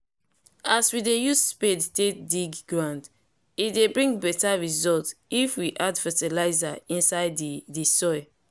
as we dey use spade take dey dig ground e dey bring better result if we add fertilizer inside the the soil